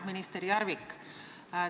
Minister Järvik!